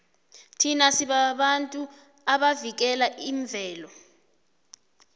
thina sibabantu abavikela imvelo